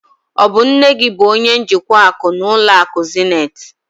Ọ bụ nne gị bụ onye njikwa akụ n'ụlọ akụ Zenith?